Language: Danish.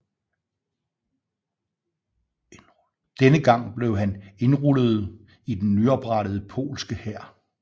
Denne gang blev han indrulleret i den nyoprettede polske hær